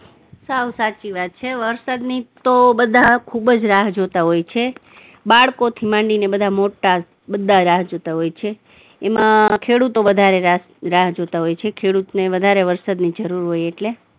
સાવ સાચી વાત છે, વરસાદની તો બધા ખુબ જ રાહ જોતા હોય છે, બાળકોથી માંડીને બધા મોટા બધા રાહ જોતા હોય છે, એમાં ખેડૂતો વધારે રાહ જોતા હોય છે, ખેડૂતને વધારે વરસાદની જરૂર હોય એટલે